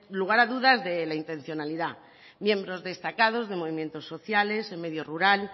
lugar a dudas de la intencionalidad miembros destacados de movimientos sociales el medio rural